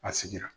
A sigira